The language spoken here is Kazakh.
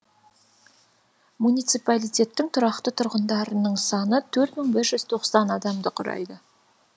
муниципалитеттің тұрақты тұрғындарының саны төрт мың бір жүз тоқсан адамды құрайды